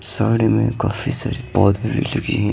सड़ में काफी सारी पौधें भी लगे --